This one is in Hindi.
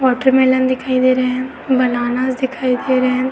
वाटर मेलन दिखाई दे रहे हैं। बनानाज़ दिखाई दे रहे हैं।